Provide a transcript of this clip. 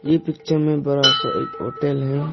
ये पिक्चर मे बड़ा सा एक होटल है।